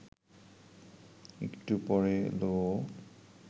একটু পরে এল ও